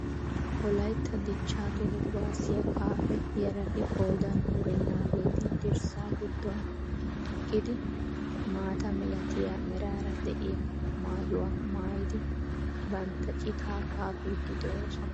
Wolaytta dichchaa toho kuwaasiya kaafe yarati qooodin wurennaageeti dirssa giddon eqqidi maata milatiya meraara de'iya maayuwa maayidi bantta citaa kaafiiddi de'oosona.